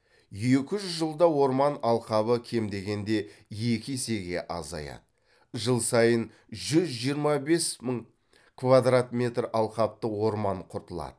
екі жүз жылда орман алқабы кем дегенде екі есеге азаяды жыл сайын жүз жиырма бес мың квадрат метр алқапты орман құртылады